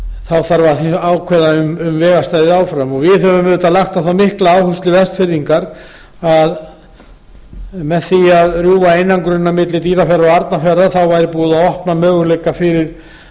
þá þarf að ákveða um vega stæði áfram og við höfum auðvitað lagt á það mikla áherslu vestfirðingar að með því að rjúfa einangrunina milli dýrafjarðar og arnarfjarðar væri búið að opna möguleika fyrir